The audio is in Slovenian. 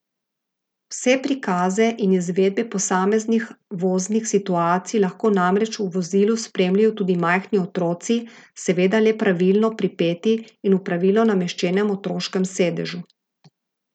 Vse prikaze in izvedbe posameznih voznih situacij lahko namreč v vozilu spremljajo tudi majhni otroci, seveda le pravilno pripeti in v pravilno nameščenem otroškem sedežu.